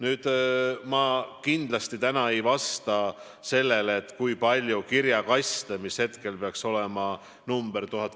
Nüüd, ma kindlasti ei vasta täna sellele, kui palju kirjakaste hakkab olema uuel perioodil.